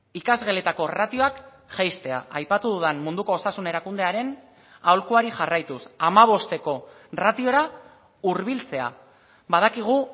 ikasgeletako ratioak jaistea aipatu dudan munduko osasun erakundearen aholkuari jarraituz hamabosteko ratiora hurbiltzea badakigu